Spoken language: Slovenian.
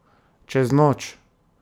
Čez noč!